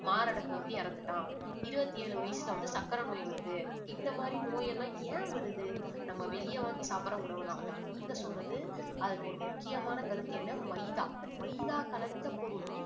மாரடைப்பு வந்து இறந்துட்டான் இருபத்தி ஏழு வயசுல வந்து சர்க்கரை நோய் வருது இந்த மாதிரி நோய் எல்லாம் ஏன் வருது நம்ம வெளியே வாங்கி சாப்பிடுற உணவுனாலதான் நீங்க சொன்னது அதுல ஒரு முக்கியமான கருத்து என்ன மைதா மைதா கலந்த பொருள்